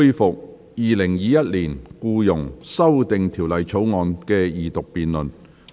本會恢復《2021年僱傭條例草案》的二讀辯論。